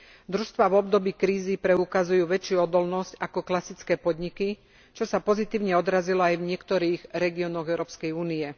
Družstvá v období krízy preukazujú väčšiu odolnosť ako klasické podniky, čo sa pozitívne odrazilo aj v niektorých regiónoch Európskej únie.